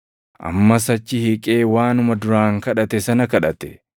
Ammas achi hiiqee waanuma duraan kadhate sana kadhate.